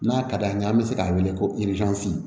N'a ka d'an ye an be se k'a wele ko